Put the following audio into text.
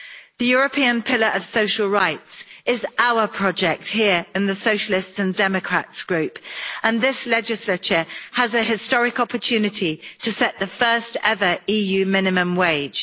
The European Pillar of Social Rights is our project here in the Socialists and Democrats group, and this legislature has a historic opportunity to set the first ever EU minimum wage.